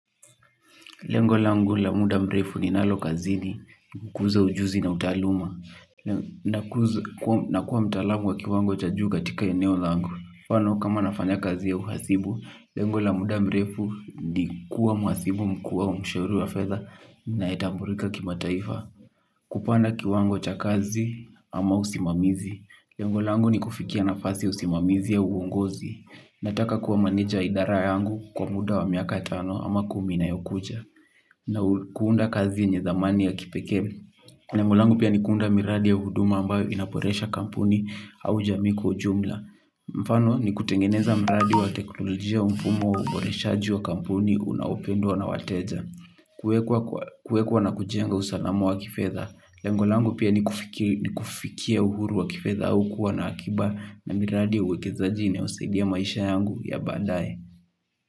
Lengo langu la muda mrefu ninalo kazini, kuza ujuzi na utaalamu. Na kuwa mtaalamu wa kiwango cha juu katika eneo langu. Mfano kama nafanya kazi ya uhasibu, lengo la muda mrefu ni kuwa mhasibu mkuu au mshauri wa fedha ninayetambulika kimataifa. Kupanda kiwango cha kazi ama usimamizi. Lengo langu nikufikia nafasi ya usimamizi au uongozi. Nataka kuwa meneja wa idara yangu kwa muda wa miaka tano ama kumi inayokuja. Na kuunda kazi yenye thamani ya kipekee. Lengo langu pia ni kuunda miradi ya huduma ambayo inaboresha kampuni au jamii kwa ujumla. Mfano ni kutengeneza mradi wa teknolojia mfumo wa uboreshaji wa kampuni unaopendwa na wateja. Kuwekwa na kujenga usalamu wa kifedha. Lengo langu pia ni kufikia uhuru wa kifedha au kuwa na akiba na miradi ya uwekezaji inayosaidia maisha yangu ya baadaye.